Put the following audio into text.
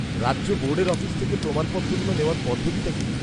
রাজ্য বোর্ডের অফিস থেকে প্রমাণপত্রগুলো নেওয়ার পদ্ধতিটা কি?